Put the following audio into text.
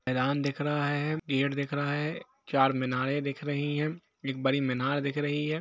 मैदान दिख रहा है गेट दिख रहा है चार मीनारे दिख रही है एक बडी मीनार दिख रही है।